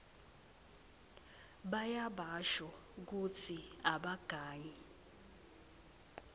bayabasho kutsi abagangi